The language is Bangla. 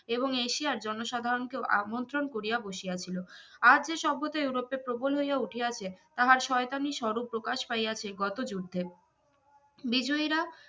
এবং এশিয়ার জনসাধারনকেও আমন্ত্রন করিয়া বাসিয়াছিল আজ যে সভ্যতা ইউরোপে প্রবল হইয়া উঠিয়াছে তাহার শয়তানি স্বরূপ প্রকাশ পাইয়াছে গত যুদ্ধে বিজয়ীরা